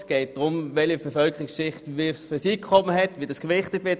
Es geht darum, welche Bevölkerungsschicht welches Einkommen hat und wie das gewichtet wird.